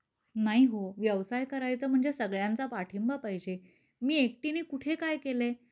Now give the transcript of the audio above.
नाही हो व्यवसाय करायचा म्हणजे सगळ्यांचा पाठिंबा पाहिजे. मी एकटीने कुठे काय केलयं